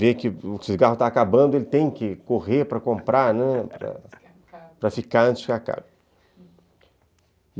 Ver que o cigarro está acabando, ele tem que correr para comprar, né, para ficar antes que acabe.